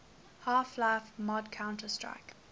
half life mod counter strike